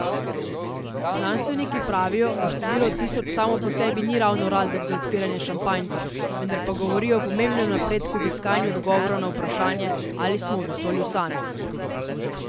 Znanstveniki pravijo, da število tisoč samo po sebi ni ravno razlog za odpiranje šampanjca, vendar pa govori o pomembnem napredku v iskanju odgovora na vprašanje, ali smo v vesolju sami.